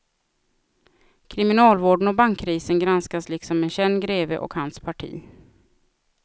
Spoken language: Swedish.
Kriminalvården och bankkrisen granskas liksom en känd greve och hans parti.